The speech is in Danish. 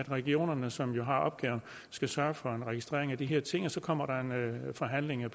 regionerne som har opgaven skal sørge for en registrering af de her ting og så kommer der forhandlinger